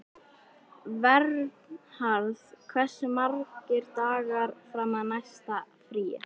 Vernharð, hversu margir dagar fram að næsta fríi?